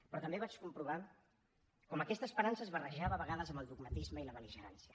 però també vaig comprovar com aquesta esperança es barrejava a vegades amb el dogmatisme i la bel·ligerància